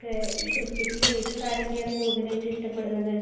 അതേല്ലേ ക്രിക്കറ്റിൽ ഏത് താരത്തെയാണ് കൂടുതലായിട്ട് ഇഷ്ടപ്പെടുന്നത്?